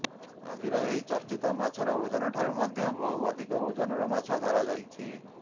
ଆଜିର ଏହି ଚର୍ଚ୍ଚିତ ମାଛର ଓଜନଠାରୁ ମଧ୍ୟ ବହୁ ଅଧିକ ଓଜନର ମାଛ ଧରା ଯାଇଛି